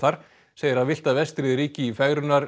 segir að villta vestrið ríki í